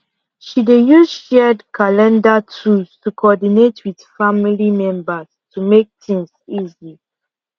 she dey use shared calender tools to coordinate with family members to make things easy